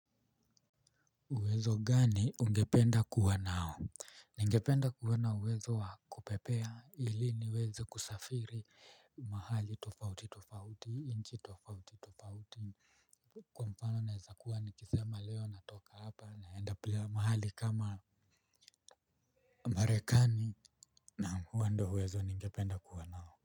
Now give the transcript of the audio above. Uwezo gani ungependa kuwa nao? Ningependa kuwa na uwezo wa kupepea ili niweze kusafiri mahali tofauti tofauti nchi tofauti tofauti kwa mfano naweza kuwa nikisema leo natoka hapa naenda mahali kama Marekani naam huo ndio uwezo ningependa kuwa nao.